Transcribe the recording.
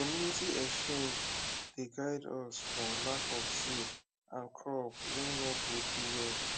de community exchange dey guide us from lack of seed and crop wey no go do well